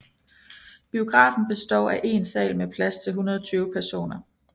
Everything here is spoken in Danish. Biografen består af én sal med plads til 120 personer